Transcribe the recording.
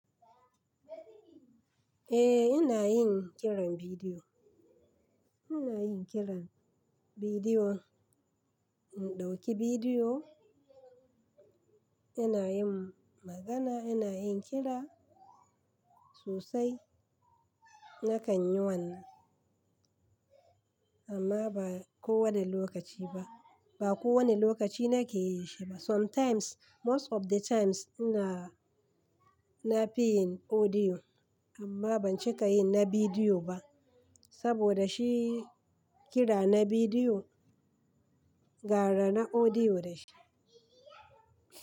Eh, ina yin kiran bidiyo. Ina yin kiran bidiyo, in ɗauki bidiyo, ina yin magana, ina yin kira sosai. Nakan yi wannan amma ba kowane lokaci ba. Ba kowane lokaci nake yi shi ba. Sometimes, most of the times ina, na fi yin audio amma ban cika yi na bidiyo ba saboda shi kira na bidiyo gara na audio da shi.